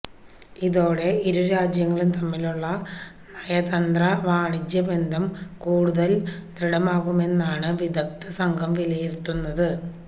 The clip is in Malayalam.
ഇതോടെ ഇരു രാജ്യങ്ങളും തമ്മിലുള്ള നയന്ത്ര വാണിജ്യ ബന്ധം കൂടുതല് ദൃഢമാകുമെന്നാണ് വിദഗ്ധ സംഘം വിലയിരുത്തുന്നത്